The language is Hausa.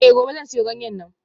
Eh gobe zan siyo ganyen neem